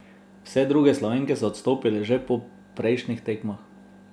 Vse druge Slovenke so odstopile že po prejšnjih tekmah.